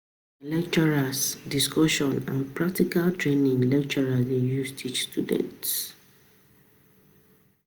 Nah lectures, discussion, and practical training, lecturers dey use teach students